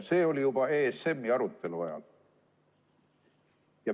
See oli juba ESM-i arutelu ajal.